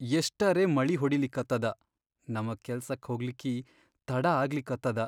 ಎಷ್ಟರೇ ಮಳಿ ಹೊಡಿಲಿಕತ್ತದ ನಮಗ್ ಕೆಲ್ಸಕ್ಕ ಹೋಗ್ಲಿಕ್ಕಿ ತಡಾ ಆಗ್ಲಿಕತ್ತದ.